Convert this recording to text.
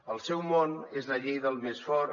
el seu món és la llei del més fort